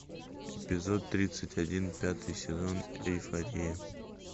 эпизод тридцать один пятый сезон эйфория